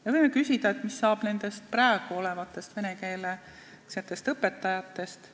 Me võime küsida, mis saab nendest olemasolevatest venekeelsetest õpetajatest.